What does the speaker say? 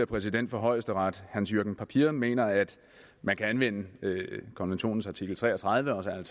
præsident for højesteret hans jürgen papier mener at man kan anvende konventionens artikel tre og tredive og